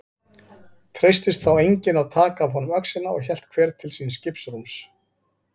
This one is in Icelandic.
Treystist þá enginn að taka af honum öxina og hélt hver til síns skipsrúms.